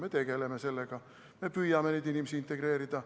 Me tegeleme sellega, me püüame neid inimesi integreerida.